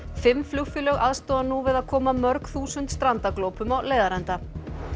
fimm flugfélög aðstoða nú við að koma mörg þúsund strandaglópum á leiðarenda